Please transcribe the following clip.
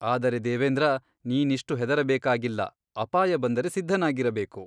ಆದರೆ ದೇವೇಂದ್ರ ನೀನಿಷ್ಟು ಹೆದರಬೇಕಾಗಿಲ್ಲ ಅಪಾಯ ಬಂದರೆ ಸಿದ್ಧನಾಗಿರಬೇಕು.